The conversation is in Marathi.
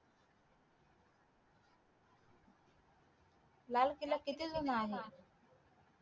लाल केला किती जुना आहे